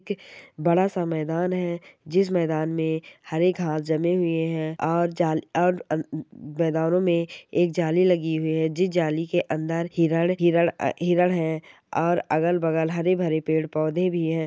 हुई है वहा पर एक लोह का झगड़ा लगा हुआ है उसमें बहुत सारे जानवर हैं ऊपर आसमान दिखाई दे रहा है शाम में बिलंगी दाख रही है।